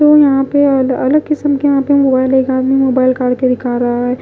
वो यहां पे अलग अलग किस्म के यहां पे मोबाइल एक आदमी मोबाइल करके दिखा रहा है।